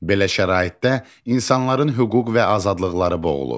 Belə şəraitdə insanların hüquq və azadlıqları boğulur.